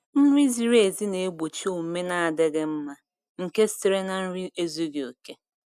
Nri ziri ezi na-egbochi omume n'adịghị mma nke sitere na nri ezughi oke.